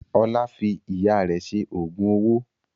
Ọlá fi Ìyá rẹ̀ ṣe oògùn owó